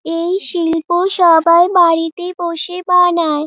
এই শিল্প সবাই বাড়িতে বসে বানায়।